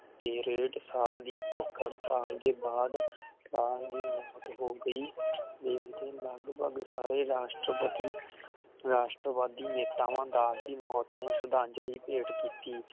ਤੇ ਡੇਢ ਸਾਲ ਦੀ ਭੁੱਖ ਹੜਤਾਲ ਦੇ ਬਾਦ ਰੇਹਟਸਲ ਦੀ ਮੌਤ ਹੋ ਗਈ ਤੇ ਲਗਭਗ ਸਾਰੇ ਰਾਸ਼ਟਰਪਤੀ ਰਾਸ਼ਟਰਵਾਦੀ ਨੇਤਾਵਾਂ ਦਾ ਦੀ ਮੌਤ ਨੂੰ ਸ਼ਰਧਾਂਜਲੀ ਭੇਟ ਕੀਤੀ